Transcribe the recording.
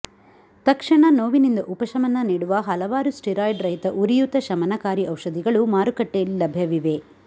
ತಕ್ಷಣ ನೋವಿನಿಂದ ಉಪಶಮನ ನೀಡುವ ಹಲವಾರು ಸ್ಟಿರಾಯ್ಡಿರಹಿತ ಉರಿಯೂತ ಶಮನಕಾರಿ ಔಷಧಿಗಳು ಮಾರುಕಟ್ಟೆಯಲ್ಲಿ ಲಭ್ಯವಿವೆ